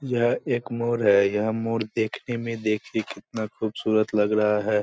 यह एक मोर है। यह मोर देखने में देखिये कितना खुबसूरत लग रहा है।